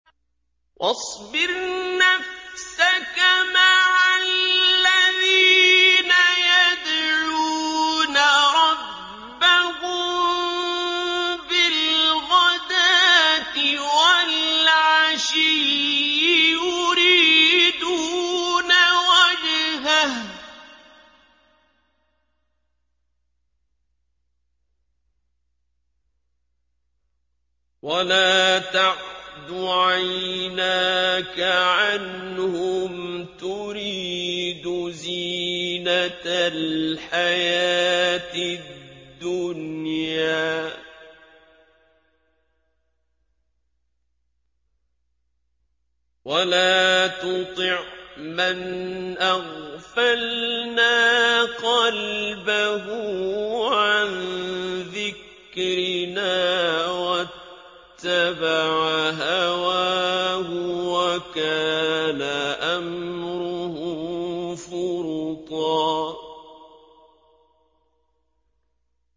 وَاصْبِرْ نَفْسَكَ مَعَ الَّذِينَ يَدْعُونَ رَبَّهُم بِالْغَدَاةِ وَالْعَشِيِّ يُرِيدُونَ وَجْهَهُ ۖ وَلَا تَعْدُ عَيْنَاكَ عَنْهُمْ تُرِيدُ زِينَةَ الْحَيَاةِ الدُّنْيَا ۖ وَلَا تُطِعْ مَنْ أَغْفَلْنَا قَلْبَهُ عَن ذِكْرِنَا وَاتَّبَعَ هَوَاهُ وَكَانَ أَمْرُهُ فُرُطًا